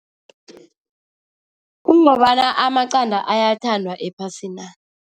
Kungobana amaqanda ayathandwa ephasina.